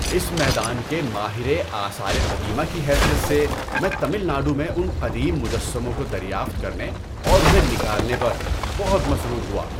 اس میدان کے ماہر آثار قدیمہ کی حیثیت سے، میں تمل ناڈو میں ان قدیم مجسموں کو دریافت کرنے اور انہیں نکالنے پر بہت مسرور ہوا۔